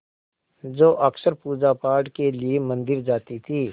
जो अक्सर पूजापाठ के लिए मंदिर जाती थीं